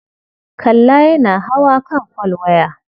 Kalla yana hawa kan folwaya.